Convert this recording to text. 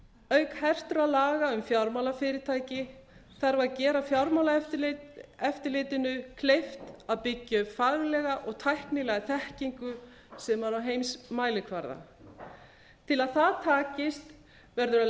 auk hertra laga um fjármálafyrirtæki þarf að gera fjármálaeftirlitinu kleift að byggja upp faglega og tæknilega þekkingu sem er á heimsmælikvarða til að það takist verður að